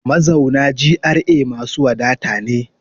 Mazauna GRA masu wadata ne.